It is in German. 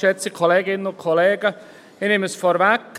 Ich nehme es vorweg.